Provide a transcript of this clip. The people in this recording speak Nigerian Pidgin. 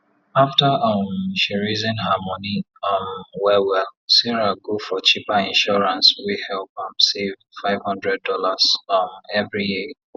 after um she reason her money um well well sarah go for cheaper insurance wey help am save five hundred dollars um every year